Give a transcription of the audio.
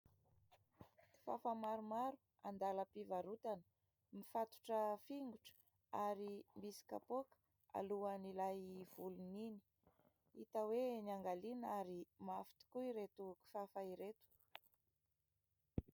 Kifafa maromaro andalam-pivarotana, mifatotra fingotra ary misy kapoaka alohan' ilay volony iny, hita hoe niangaliana ary mafy tokoa ireto kifafa ireto.